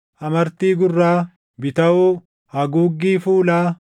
amartii gurraa, bitawoo, haguuggii fuulaa,